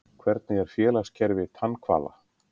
Hvernig er félagskerfi tannhvala?